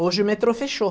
Hoje o metrô fechou.